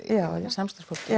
samstarfsfólki